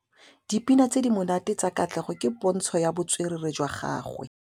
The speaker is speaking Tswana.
Dipina tse di monate tsa Katlego ke pôntshô ya botswerere jwa gagwe.